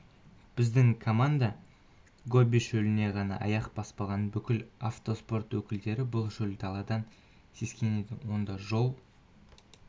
біздің команда гоби шөліне ғана аяқ баспаған бүкіл автоспорт өкілдері бұл шөл даладан сескенеді онда жол